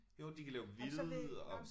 Jo de kan lave hvide og